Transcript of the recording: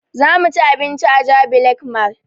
Za mu ci abinci a jabi lake mall